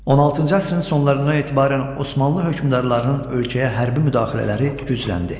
16-cı əsrin sonlarından etibarən Osmanlı hökmdarlarının ölkəyə hərbi müdaxilələri gücləndi.